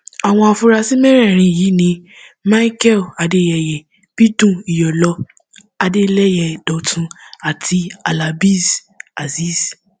àwọn afurasí mẹrẹẹrin yìí ni michael adéyẹyẹ bídún iyọlọ adélẹyẹ dọtun àti halábéez azeez